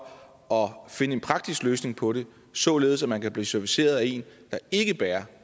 at finde en praktisk løsning på det således at man kan blive serviceret af en der ikke bærer